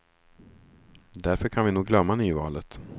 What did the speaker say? Därför kan vi nog glömma nyvalet.